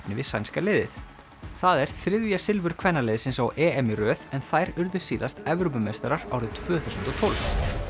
við sænska liðið það er þriðja silfur kvennaliðsins á EM í röð en þær urðu síðast Evrópumeistarar árið tvö þúsund og tólf